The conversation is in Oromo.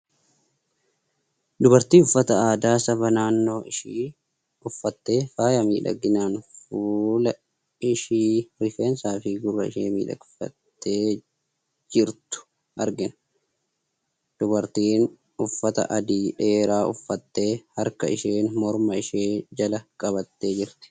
Dubartii uffata aadaa saba naannoo ishii uffattee, faaya miidhaginaan fuula ishii, rifeensaa fi gurra ishii miidhagsitee jirtu argina. Dubartiin uffata adii dheeraa uffattee, harka isheen morma ishee jala qabattee jirti.